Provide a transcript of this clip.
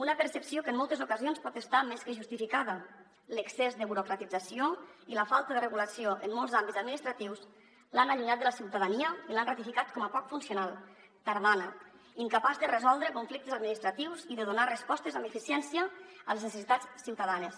una percepció que en moltes ocasions pot estar més que justificada l’excés de burocratització i la falta de regulació en molts àmbits administratius l’han allunyat de la ciutadania i l’han ratificat com a poc funcional tardana incapaç de resoldre conflictes administratius i de donar respostes amb eficiència a les necessitats ciutadanes